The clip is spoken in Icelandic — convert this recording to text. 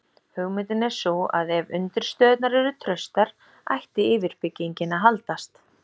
Hugmyndin er sú að ef undirstöðurnar eru traustar ætti yfirbyggingin að haldast.